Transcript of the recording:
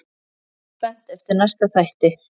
Bíð spennt eftir næsta þætti.